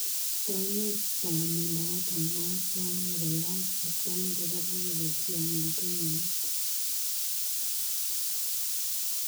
Taunet ap mandaet ap moet komuch koyaak atakaan koraa agoketyii anan konyoo ak